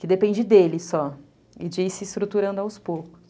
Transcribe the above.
Que depende dele só, e de ir se estruturando aos poucos.